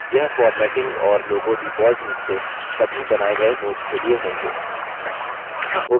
यह formatting और logo default रूप से सभी बनाये गये notes के लिए होंगे